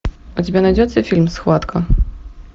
у тебя найдется фильм схватка